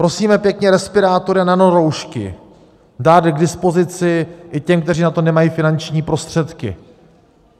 Prosíme pěkně, respirátory a nanoroušky dát k dispozici i těm, kteří na to nemají finanční prostředky.